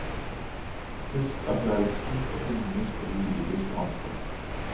Husk vi har et stort økonomisk og juridisk ansvar.